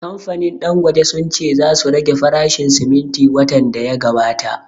Kamfanin Dangote sun ce za su rage farashin siminti watan da ya gabata